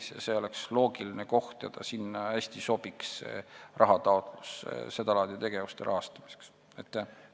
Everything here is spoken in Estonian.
Nii et see oleks loogiline koht, kuhu taotlused seda laadi tegevuste rahastamiseks hästi sobiksid.